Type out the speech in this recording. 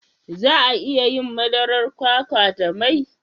Za a iya yin madarar kwakwa da mai?